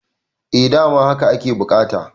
eh dama haka ake bukata